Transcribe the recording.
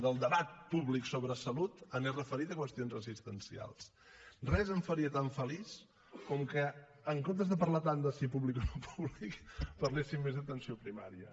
del debat públic sobre salut anés referit a qüestions assistencials res em faria tan feliç com que en comptes de parlar tant de si públic o no públic parléssim més d’atenció primària